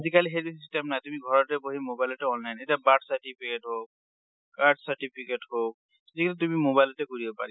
আজিকালি সেইটো system নাই, তুমি ঘৰতে বহি mobile তে online, এতিয়া birth certificate হওঁক, caste certificate হওঁক, যি হওঁক তুমি mobile তে কৰিব পাৰি।